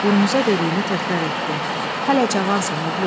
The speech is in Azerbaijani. Urmuza dediyini təkrar etdi: Hələ cavansan, oğlum.